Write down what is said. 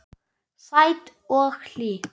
Sæt og hlý.